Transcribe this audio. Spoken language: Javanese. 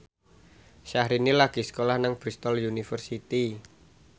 Syahrini lagi sekolah nang Bristol university